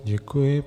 Děkuji.